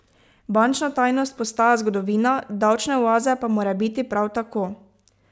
Bančna tajnost postaja zgodovina, davčne oaze pa morebiti prav tako.